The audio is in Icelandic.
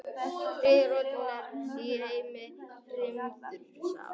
Þriðja rótin er í heimi hrímþursa.